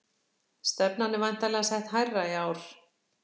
Stefnan er væntanlega sett hærra í ár?